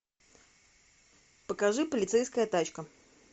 покажи полицейская тачка